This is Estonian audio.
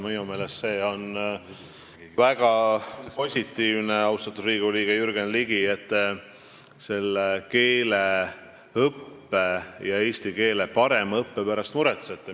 Minu meelest see on väga positiivne, austatud Riigikogu liige Jürgen Ligi, et te keeleõppe, eesti keele parema õppe pärast muretsete.